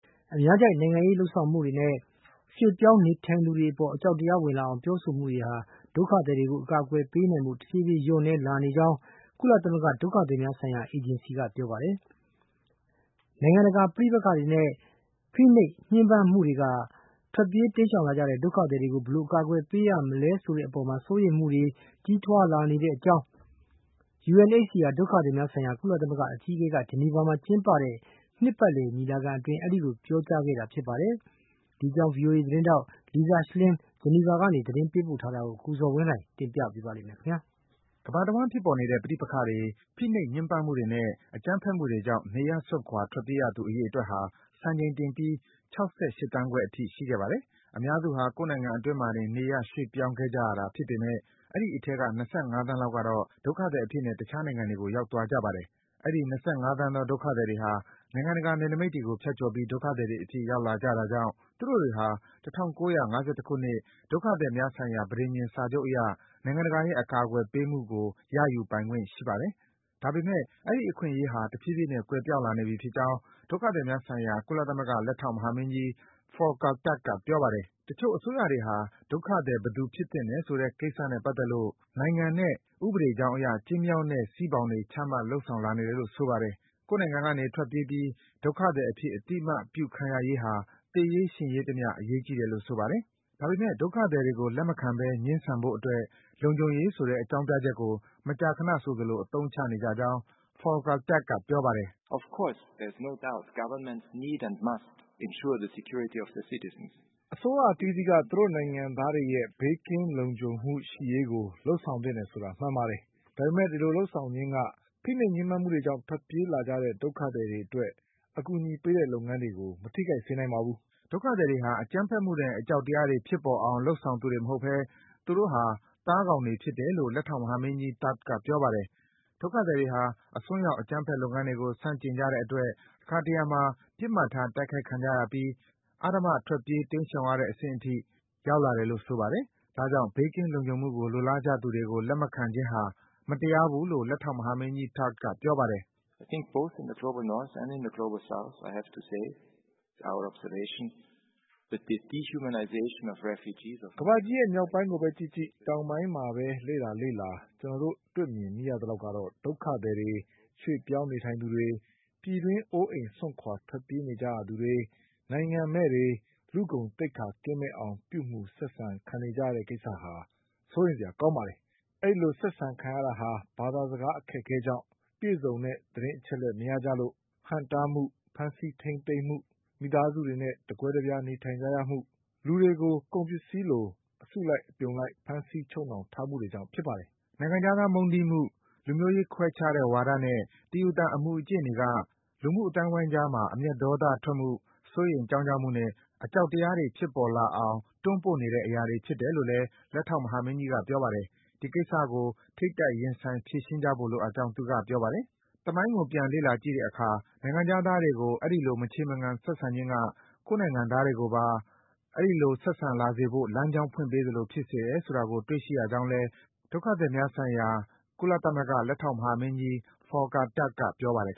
အများကြိုက် နိုင်ငံရေးလုပ်ဆောင်မှုနဲ့ ရွေ့ပြောင်း နေထိုင်သူတွေအပေါ် အကြောက်တရား ဝင်လာအောင် ပြောဆိုမှုတွေဟာ ဒုက္ခသည်တွေကို အကာကွယ်ပေးနိုင်ဖို့ တဖြည်းဖြည်း လျော့လာနေကြောင်း ကုလသဂ္ဂ ဒုက္ခသည်များဆိုင်ရာ အေဂျင်စီက ပြောပါတယ်။ နိုင်ငံတကာမှာ ဖြစ်ပေါ်နေတဲ့ ပဋိပက္ခတွေနဲ့ ဖိနှိပ် ညှဉ်းပန်းမှုတွေက ထွက်ပြေး တိမ်းရှောင်လာကြတဲ့ ဒုက္ခသည်တွေကို ဘယ်လို အကာကွယ် ပေးရမလဲဆိုတဲ့အပေါ် စိုးရိမ်မှုတွေ ကြီးထွားလာနေတဲ့အကြောင်း UNHCR ဒုက္ခသည်များဆိုင်ရာ ကုလသမဂ္ဂအကြီးအကဲက ဂျနီဗာမြို့မှာ ကျင်းပနေတဲ့ နှစ်ပတ်လည် ညီလာခံအတွင်း အဲဒီလို ပြောကြားခဲ့တာပါ။ ဒီအကြောင်း ဗွီအိုအေ သတင်းထောက် Lisa Schlein ဂျနီဗာမြို့က သတင်း ပေးပို့ထားတာကိုတော့ ကိုဇော်ဝင်းလှိုင်က တင်ပြပေးမှာပါ။ ကမ္ဘာတဝှမ်းဖြစ်ပေါ်နေတဲ့ ပဋိပက္ခတွေ၊ ဖိနှိပ် ညှဉ်းပန်းမှုတွေနဲ့ အကြမ်းဖက်တွေကြောင့် နေရပ်စွန့်ခွာ ထွက်ပြေးရသူ အရေအတွက်ဟာ စံချိန်တင်ပြီး ၆၈ သန်းခွဲအထိ ရှိခဲ့ပါတယ်။ အများစုဟာ ကိုယ့်နိုင်ငံအတွင်းမှာတင် နေရပ် ရွေ့ပြောင်းခဲ့ကြရတာ ဖြစ်ပေမယ့် အဲဒီအထဲက ၂၅ သန်း လောက်ကတော့ ဒုက္ခသည်အဖြစ်နဲ့ တခြားနိုင်ငံတွေကို ရောက်သွားကြပါတယ်။ အဲဒီ ၂၅ သန်းသော ဒုက္ခသည်တွေဟာ နိုင်ငံတကာ နယ်နိမိတ်တွေကို ဖြတ်ကျော်ပြီး ဒုက္ခသည်တွေအဖြစ် ရောက်လာကြတာကြောင့် သူတို့တွေဟာ ၁၉၅၁ ခုနှစ် ဒုက္ခသည်များဆိုင်ရာ ပဋိဉာဏ် စာချုပ်အရ နိုင်ငံတကာရဲ့ အကာကွယ်ပေးမှုကို ရယူပိုင်ခွင့် ရှိပါတယ်။ ဒါပေမယ့် အဲဒီ အခွင့်အရေးဟာ တဖြည်းဖြည်းနဲ့ ကွယ်ပျောက်လာနေပြီဖြစ်ကြောင်း ဒုက္ခသည်များဆိုင်ရာ ကုလသမဂ္ဂ လက်ထောက် မဟာမင်းကြီး Volker Turk က ပြောပါတယ်။ တချို့အစိုးရတွေဟာ ဒုက္ခသည် ဘယ်သူဖြစ်သင့်တယ်ဆိုတဲ့ကိစ္စနဲ့ ပတ်သက်လို့ နိုင်ငံနဲ့ ဥပဒေကြောင်းအရ ကျဉ်းမြောင်းတဲ့စည်းဘောင်တွေ ချမှတ် လုပ်ဆောင်လာနေတယ်လို့ ဆိုပါတယ်။ ကိုယ့်နိုင်ငံကနေ ထွက်ပြေးပြီး ဒုက္ခသည်အဖြစ် အသိအမှတ်ပြုခံရရေးဟာ သေရေး၊ ရှင်ရေးတမျှ အရေးကြီးတယ်လို့ ဆိုပါတယ်။ ဒါပေမယ့် ဒုက္ခသည်တွေကို လက်မခံဘဲ ငြင်းဆန်ဖို့အတွက် လုံခြုံရေးဆိုတဲ့ အကြောင်းပြချက်ကို မကြာခနဆိုသလို အသုံးချနေကြကြောင်း Volker Turk က ပြောပါတယ်။ “အစိုးရအသီးသီးက သူတို့နိုင်ငံသားတွေရဲ့ ဘေးကင်း လုံခြုံမှုရှိရေးကို လုပ်ဆောင်သင့်တယ်ဆိုတာ မှန်ပါတယ်။ ဒါပေမယ့် အဲဒီလိုလုပ်ဆောင်ခြင်းက ဖိနှိပ်ညှဉ်းပန်းမှုတွေကြောင့် ထွက်ပြေးလာကြတဲ့ ဒုက္ခသည်တွေကို အကူအညီပေးတဲ့လုပ်ငန်းကို မထိခိုက်စေနိုင်ပါဘူး။” ဒုက္ခသည်တွေဟာ အကြမ်းဖက်မှုနဲ့ အကြောက်တရားတွေ ဖြစ်ပေါ်အောင် လုပ်ဆောင်သူတွေမဟုတ်ဘဲ သူတို့ဟာ သားကောင်တွေ ဖြစ်တယ်လို့ လက်ထောက်မဟာမင်းကြီး Turk က ပြောပါတယ်။ ဒုက္ခသည်တွေဟာ အစွန်းရောက် အကြမ်းဖက်လုပ်ငန်းတွေကို ဆန့်ကျင်ကြတဲ့အတွက် တခါတရံမှာ ပစ်မှတ်ထား တိုက်ခိုက်ခံကြရပြီး အဓမ္မ ထွက်ပြေး တိန်းရှောင်ရတဲ့အဆင့်အထိ ရောက်လာတယ်လို့ ဆိုပါတယ်။ ဒါကြောင့် ဘေးကင်း လုံခြုံမှုကို လိုလားနေကြသူတွေကို လက်မခံခြင်းဟာ မတရားဘူးလို့ လက်ထောက်မဟာမင်းကြီး Turk က ပြောပါတယ်။ “ကမ္ဘာကြီးရဲ့ မြောက်ပိုင်းကိုဘဲကြည့်ကြည့်၊ တောင်ပိုင်းမှာဘဲ လေ့လာ လေ့လာ ကျနော်တို့ မြင်တွေ့မိရသလောက် ကတော့ ဒုက္ခသည်တွေ၊ ရွေ့ပြောင်း နေထိုင်သူတွေ၊ ပြည်တွင်း အိုးအိမ် စွန့်ခွာ ထွက်ပြေးကြရသူတွေ၊ နိုင်ငံမဲ့သူတွေ လူ့ဂုဏ်သိက္ခာ ကင်းမဲ့အောင် ပြုမူ ဆက်ဆံ ခံနေကြရတဲ့ကိစ္စဟာ စိုးရိမ်စရာကောင်းပါတယ်။ အဲဒီလို ဆက်ဆက်ခံရတာဟာ ဘာသာစကား အခက်အခဲကြောင့်၊ ပြည့်စုံတဲ့ သတင်းအချက်အလက် မရကြလို့၊ ဟန့်တားမှု၊ ဖမ်းဆီး ထိန်းသိမ်းမှု၊ မိသားစုတွေနဲ့ တကွဲတပြား နေထိုင်ကြရမှုနဲ့ လူတွေကို ကုန်ပစ္စည်းတွေသဖွယ် အစုလိုက် အပြုံလိုက် ဖမ်းဆီး ချုပ်နှောင်ထားမှုတွေကြောင့် ဖြစ်ပါတယ်။” နိုင်ငံခြားသား မုန်းတီးမှု၊ လူမျိုးရေးခွဲခြားတဲ့ဝါဒနဲ့ တယူသန် အမူအကျင့်တွေက လူမှုအသိုင်းဝိုင်းကြားမှာ အမျက်ဒေါသထွက်မှု၊ စိုးရိမ် ကြောင့်ကြမှုနဲ့ အကြောက်တရားတွေ ဖြစ်ပေါ်လာအောင် တွန်းပို့နေတဲ့ အရာတွေ ဖြစ်တယ်လို့ လက်ထောက် မဟာမင်းကြီးက ပြောပါတယ်။ အဲဒီကိစ္စတွေကို ထိပ်တိုက် ရင်ဆိုင် ဖြေရှင်းကြဖို့လိုကြောင်းလည်း သူက ပြောပါတယ်။ သမိုင်းကို ပြန်လေ့လာကြည့်တဲ့အခါ နိုင်ငံခြားသားတွေကို အဲဒီလို မချေမငံ ဆက်ဆံခြင်းက ကိုယ့်နိုင်ငံသားတွေကိုပါ အဲဒီလို ဆက်ဆံလာစေဖို့ လမ်းကြောင်း ဖွင့်ပေးသလို ဖြစ်စေတယ်ဆိုတာကို တွေ့ရှိရကြောင်းလည်း ဒုက္ခသည်များဆိုင်ရာ ကုလသမဂ္ဂ လက်ထောက်မဟာမင်းကြီး Volker Turk က ပြောပါတယ်